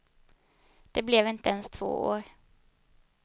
Det blev inte ens två år.